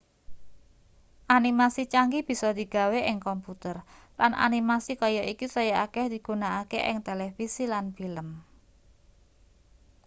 animasi canggih bisa digawe ing komputer lan animasi kaya iki saya akeh digunakake ing televisi lan film